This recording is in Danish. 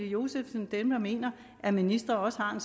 josefsen og dem der mener at ministre også har